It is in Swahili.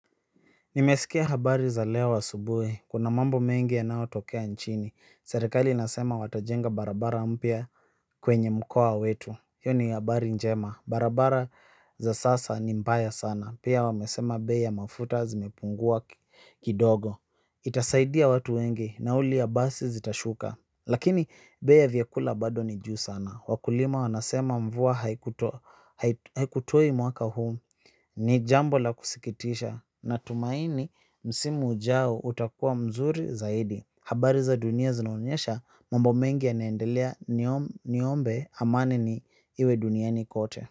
Nimeskia habari za leo asubuhi, kuna mambo mengi yanayotokea nchini, serikali inasema watajenga barabara mpya kwenye mkoa wetu. Hiyo ni habari njema, barabara za sasa ni mbaya sana, pia wamesema bei ya mafuta zimepungua kidogo. Itasaidia watu wengi, nauli ya basi zitashuka, lakini bei ya vyakula bado ni juu sana. Wakulima wanasema mvua haikutoi mwaka huu. Ni jambo la kusikitisha, natumaini msimu ujao utakuwa mzuri zaidi. Habari za dunia zinaonyesha mambo mengi yanaendelea niombe amani ni, iwe duniani kote.